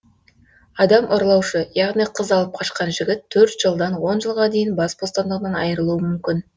адам ұрлаушы яғни қыз алып қашқан жігіт төрт жылдан он жылға дейін бас бостандығынан айырылуы мүмкін